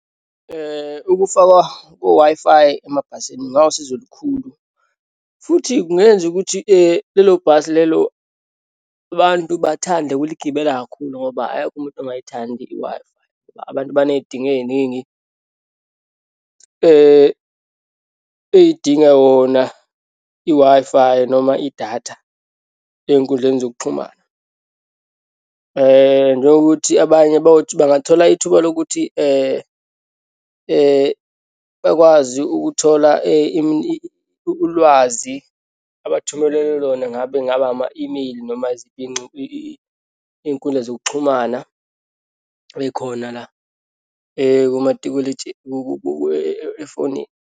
Ukufakwa ko-Wi-Fi emabhasini kungawusizo olukhulu futhi kungenza ukuthi lelo bhasi lelo abantu bathande ukuligibela kakhulu ngoba akekho umuntu ongayithandi i-Wi-Fi. Abantu baneyidingo eyiningi eyidinga yona i-Wi-Fi noma idatha eyinkundleni zokuxhumana. Njengokuthi abanye bayothi bangathola ithuba lokuthi bakwazi ukuthola ulwazi abathumelelwe lona, ngabe ngaba ama-imeyili noma iyinkundla zokuxhumana eyikhona la efonini?